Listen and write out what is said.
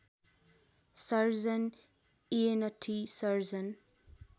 surgeon ENT surgeon